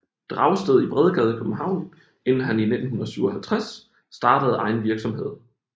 Dragsted i Bredgade København inden han i 1957 startede egen virksomhed